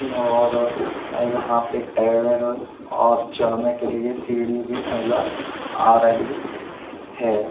नौ और यहां पे और चढ़ने के लिए सीढ़ी भी नज़र आ रही है।